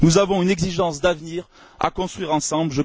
Nous avons une exigence d'avenir à construire ensemble.